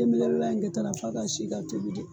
Denmisɛnin layi in kɛ ta la f'a ka si ka tobi dɛ.